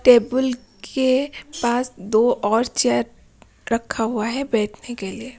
Table के पास दो और चेयर रखा हुआ है बैठने के लिए।